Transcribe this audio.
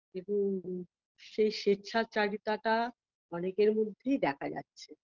কিন্তু সেই স্বেচ্ছাচারিতাটা অনেকের মধ্যেই দেখা যাচ্ছে